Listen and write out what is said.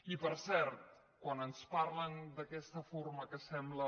i per cert quan ens parlen d’aquesta forma que sembla